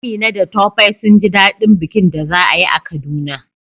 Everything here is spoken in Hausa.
Amina da Tope sun ji daɗin bikin da za a yi a Kaduna